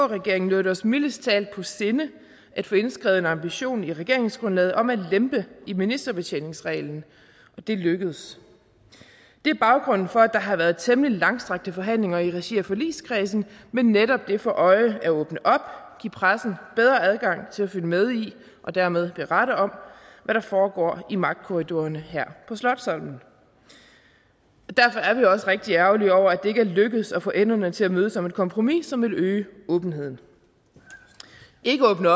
regeringen lå det os mildest talt på sinde at få indskrevet en ambition i regeringsgrundlaget om at lempe i ministerbetjeningsreglen og det lykkedes det er baggrunden for at der har været temmelig langstrakte forhandlinger i regi af forligskredsen med netop det for øje at åbne op og give pressen bedre adgang til at følge med i og dermed berette om hvad der foregår i magtkorridorerne her på slotsholmen derfor er vi også rigtig ærgerlige over at det ikke er lykkedes at få enderne til at mødes om et kompromis som vil øge åbenheden ikke åbne